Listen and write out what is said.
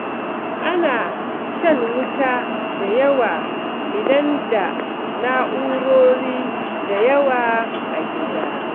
Ana shan wuta da yawa idan da na'urori da yawa a gida.